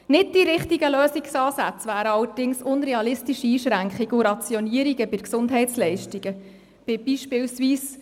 Nicht die richtigen Lösungsansätze wären allerdings unrealistische Einschränkungen und Rationierungen bei Gesundheitsleistungen, beispielsweise mit dem Kriterium einer Altersgrenze;